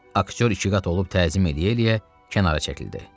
Aktyor iki qat olub təzim eləyə-eləyə kənara çəkildi.